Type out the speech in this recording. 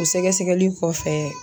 O sɛgɛsɛgɛli kɔfɛ